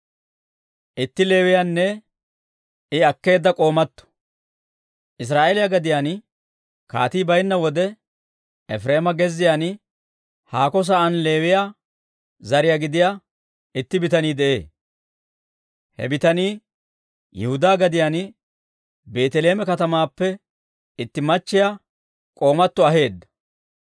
Israa'eeliyaa gadiyaan kaatii baynna wode, Efireema gezziyaan, haako sa'aan Leewiyaa zare gidiyaa itti bitanii de'ee. He bitanii Yihudaa gadiyaan Beeteleeme katamaappe itti naatto k'oomatto aheedda.